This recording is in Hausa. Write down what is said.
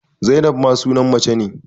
Zainab ma sunan mace ne